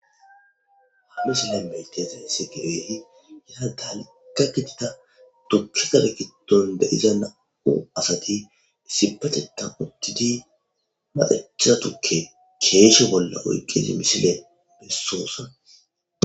haamisile metea semise gibeti yisa taalika gitida tukke gabekiton deiza na7u asati isipateta uttidi maecha tukke keeshe bolla oyqqezi misile bessoosa